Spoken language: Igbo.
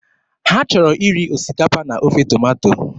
Ha chọrọ iri osikapa na ofe tomato.